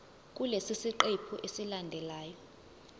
kulesi siqephu esilandelayo